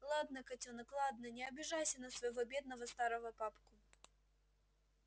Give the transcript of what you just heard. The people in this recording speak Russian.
ладно котёнок ладно не обижайся на своего бедного старого папку